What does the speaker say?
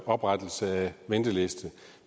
oprettelse af venteliste